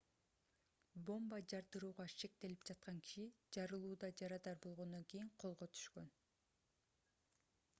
бомба жардырууга шектелип жаткан киши жарылууда жарадар болгондон кийин колго түшкөн